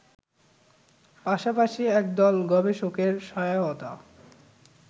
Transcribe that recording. পাশাপাশি একদল গবেষকের সহায়তায়